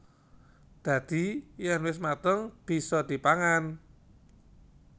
Dadi yèn wis mateng bisa dipangan